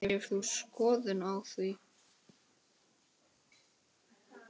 Hefur þú skoðun á því?